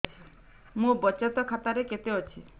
ମୋ ବଚତ ଖାତା ରେ କେତେ ଅଛି